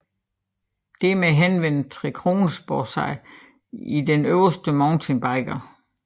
Dermed henvender Trekronersporet sig til den øvede mountainbiker